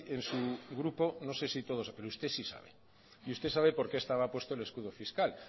en su grupo no sé si todos pero usted sí sabe y usted sabe por qué estaba puesto el escudo fiscal